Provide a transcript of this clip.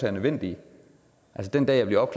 er nødvendige altså den dag jeg bliver